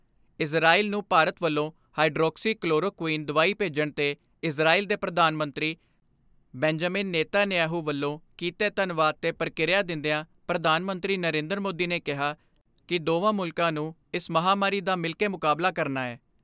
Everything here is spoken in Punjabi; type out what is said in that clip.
ਇਜ਼ਰਾਇਲ ਨੂੰ ਭਾਰਤ ਵੱਲੋਂ ਹਾਈਡਰੋਕਸੀਕਲੋਰੋ ਕੁਈਨ, ਦਵਾਈ ਭੇਜਣ 'ਤੇ ਇਜ਼ਰਾਇਲ ਦੇ ਪ੍ਰਧਾਨ ਮੰਤਰੀ ਬੈਂਜੇਮਿਨ ਨੇਤਾਨਯਾਹੂ, ਵੱਲੋਂ ਕੀਤੇ ਧੰਨਵਾਦ 'ਤੇ ਪ੍ਰਤੀਕਿਰਿਆ ਦਿੰਦਿਆਂ ਪ੍ਰਧਾਨ ਮੰਤਰੀ ਨਰੇਂਦਰ ਮੋਦੀ ਨੇ ਕਿਹਾ ਕਿ ਦੋਵਾਂ ਮੁਲਕਾਂ ਨੂੰ ਇਸ ਮਹਾਂਮਾਰੀ ਦਾ ਮਿਲਕੇ ਮੁਕਾਬਲਾ ਕਰਨਾ ਐ।